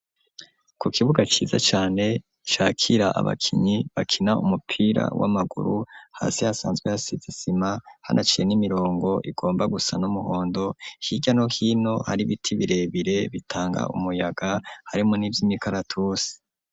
Ku kibuga ciza cane cakira abakinyi bakina umupira w'amaguru hasi hasanzwe hasize isima hanaciye n'imirongo igomba gusa n'umuhondo hirya no hino hari biti birebire bitanga umuyaga harimvo n'ivyi mikaratusi.